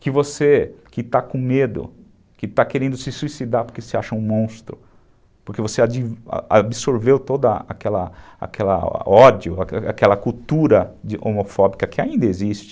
Que você que está com medo, que está querendo se suicidar porque se acha um monstro, porque você absorveu todo aquele ódio, aquela cultura homofóbica que ainda existe.